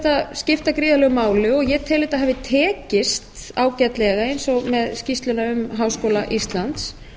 þetta skipta gríðarlegu máli og ég tel að þetta hafi tekist ágætlega eins og með skýrsluna um háskóla íslands